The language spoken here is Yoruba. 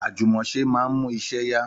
Àjùmọ̀ṣe máa ń mú iṣẹ́ yá